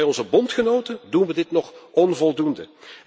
Maar bij onze bondgenoten doen we dit nog onvoldoende.